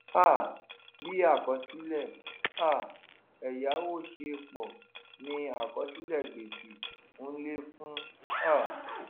um bí àkọsílẹ̀ um èyáwó ṣe n pọ̀ ni àkọsílẹ̀ gbèsè n lékún um